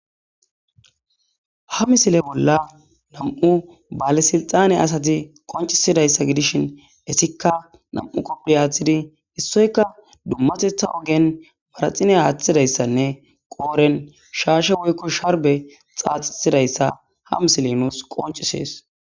Ha mosile bolla nam'u bale sixanne adayi qoncisidaysa gidisjin etika nam'u kopiya wothifo issiyka dumatetha ogen manaxira aathidaysane qoodhen shaashe woyko sharne xaaxidaysa ja mosoley nus qoncises.